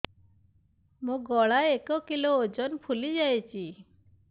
ମୋ ଗଳା ଏକ କିଲୋ ଓଜନ ଫୁଲି ଯାଉଛି